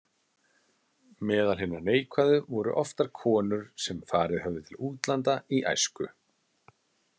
Meðal hinna neikvæðu voru oftar konur sem farið höfðu til útlanda í æsku.